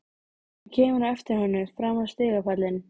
Hún kemur á eftir honum fram á stigapallinn.